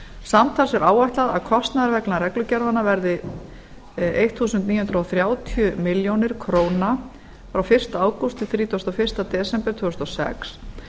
samtals er áætlað að kostnaður vegna reglugerðanna verði nítján hundruð þrjátíu milljónir k frá fyrsta ágúst til þrítugasta og fyrsta desember tvö þúsund og sex